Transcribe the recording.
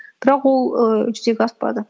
бірақ ол ііі жүзеге аспады